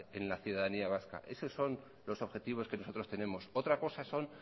en la ciudadanía vasca eso son los objetivos que nosotros tenemos otra cosa son